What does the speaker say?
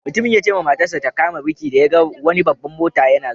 Mutumin ya ce ma matar sa ta kama birki da ya gan wani babban mota na zuwa.